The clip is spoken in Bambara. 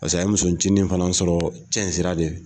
Paseke a ye musonincinin fana sɔrɔ cɛn sira de